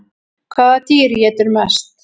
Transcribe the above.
Hvaða dýr étur mest?